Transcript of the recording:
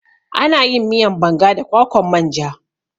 Ana yin miyan banga da kwakwan manja